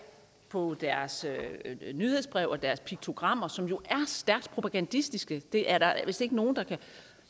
på deres nyhedsbrev og deres piktogrammer som jo er stærkt propagandistiske det er der vist ikke nogen der kan